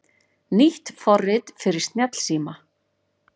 Nýtt forrit fyrir snjallsíma